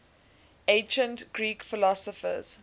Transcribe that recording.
ancient greek philosophers